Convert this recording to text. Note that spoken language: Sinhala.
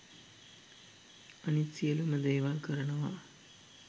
අනිත් සියලුම දේවල් කරනවා.